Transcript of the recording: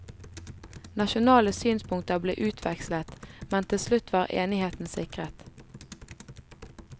Nasjonale synspunkter ble utvekslet, men til slutt var enigheten sikret.